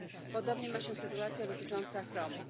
Podobnie ma się sytuacja dotycząca chromu.